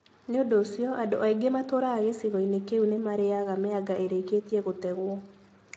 Nĩ ũndũ ũcio, andũ aingĩ matũũraga gĩcigo-inĩ kĩu nĩ maarĩaga mĩanga ĩrĩkĩtie gũtegwo.